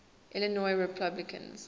illinois republicans